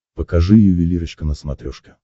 покажи ювелирочка на смотрешке